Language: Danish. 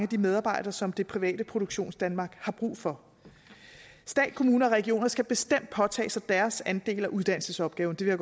de medarbejdere som det private produktionsdanmark har brug for stat kommuner og regioner skal bestemt påtage sig deres andel af uddannelsesopgaven det vil